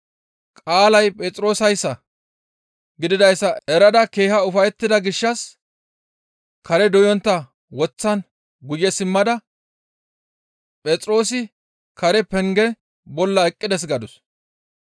Qaalay Phexroosayssa gididayssa erada keeha ufayettida gishshas kareza doyontta woththan guye simmada, «Phexroosi Karen penge bolla eqqides» gadus.